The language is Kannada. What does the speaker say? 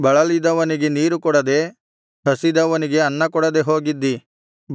ಬಳಲಿದವನಿಗೆ ನೀರು ಕೊಡದೆ ಹಸಿದವನಿಗೆ ಅನ್ನಕೊಡದೆ ಹೋಗಿದ್ದಿ